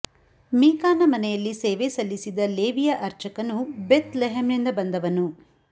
ಮೀಕಾನ ಮನೆಯಲ್ಲಿ ಸೇವೆ ಸಲ್ಲಿಸಿದ ಲೇವಿಯ ಅರ್ಚಕನು ಬೆಥ್ ಲೆಹೆಮ್ ನಿಂದ ಬಂದವನು